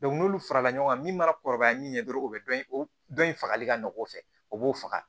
n'olu farala ɲɔgɔn kan min mana kɔrɔbaya min ɲɛ dɔrɔn o bɛ dɔn o dɔn in fagali ka nɔgɔ o fɛ o b'o faga